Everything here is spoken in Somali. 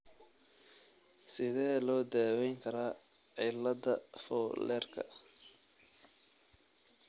Sidee loo daweyn karaa cillada Fowlerka ?